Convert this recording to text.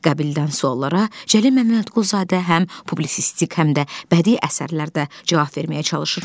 Qabildən suallara Cəlil Məmmədquluzadə həm publisistik, həm də bədii əsərlərdə cavab verməyə çalışır.